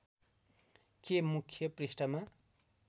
के मुख्य पृष्‍ठमा